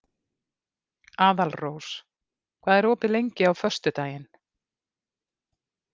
Aðalrós, hvað er opið lengi á föstudaginn?